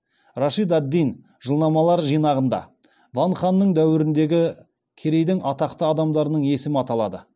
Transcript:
рашид ад диннің жылнамалар жинағында ван ханның дәуіріндегі керейдің атақты адамдарының есімі аталады